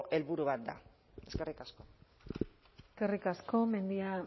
helburu bat da eskerrik asko eskerrik asko mendia